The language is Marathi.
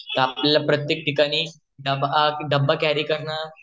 तर आपल्याला प्रत्येक ठिकाणी डबा कॅरी करण